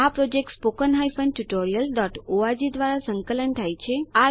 આ project httpspoken tutorialorg દ્વારા સંકલન થાય છે